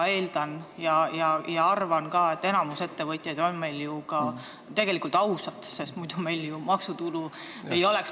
Ma eeldan ja arvan, et enamik ettevõtjaid on meil tegelikult ausad, sest muidu meil ju maksutulu ei oleks.